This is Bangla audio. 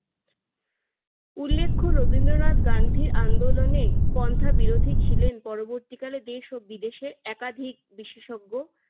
উল্লেখ্য রবীন্দ্রনাথ গান্ধীর আন্দোলনে কণ্ঠাবিরোধী ছিলেন। পরবর্তীকালে দেশ ও বিদেশে একাধিক বিশেষজ্ঞ